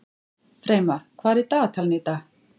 Freymar, hvað er í dagatalinu í dag?